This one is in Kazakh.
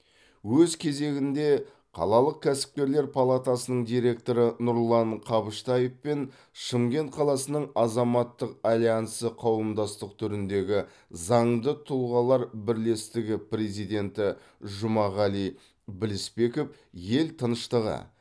өз кезегінде қалалық кәсіпкерлер палатасының директоры нұрлан қабыштаев пен шымкент қаласының азаматтық альянсы қауымдастық түріндегі заңды тұлғалар бірлестігі президенті жұмағали білісбеков ел тыныштығы